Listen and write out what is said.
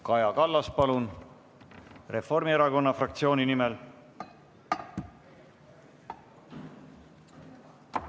Kaja Kallas, palun, Reformierakonna fraktsiooni nimel!